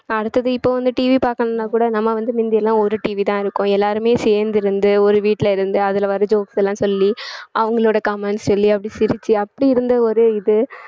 அடுத்தது இப்ப வந்து TV பார்க்கணும்ன்னா கூட நம்ம வந்து மிந்தியெல்லாம் ஒரு TV தான் இருக்கோம் எல்லாருமே சேர்ந்து இருந்து ஒரு வீட்டுல இருந்து அதுல வர்ற jokes லாம் சொல்லி அவங்களோட comments சொல்லி அப்படி சிரிச்சு அப்படி இருந்த ஒரு இது